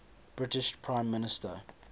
british prime minister